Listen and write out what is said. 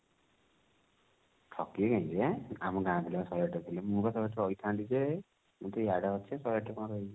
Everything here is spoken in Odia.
ଠକିବେ କାହିଁକି ଯେ ଆମ ଗାଁ ପିଲା ବା ଶହେ ଆଠ ରେ ଥିଲେ ମୁଁ ବା ଶହେ ଆଠ ରେ ରହିଥାନ୍ତି ଯେ ମୁ ତ ଇଆଡେ ଅଛି ଶହେ ଆଠ ରେ କଣ ରହିବି